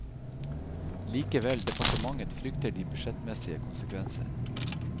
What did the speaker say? Likevel, departementet frykter de budsjettmessige konsekvenser.